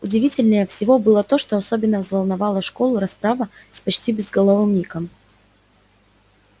удивительнее всего было то что особенно взволновала школу расправа с почти безголовым ником